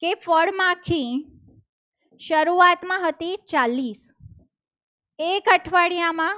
કે ફળમાંથી શરૂઆતમાં હતી ચાલીસ એક અઠવાડિયામાં